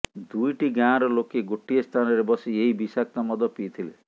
ଦୁଇଟି ଗାଁର ଲୋକେ ଗୋଟିଏ ସ୍ଥାନରେ ବସି ଏହି ବିଷାକ୍ତ ମଦ ପିଇଥିଲେ